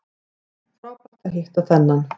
Frábært að hitta þennan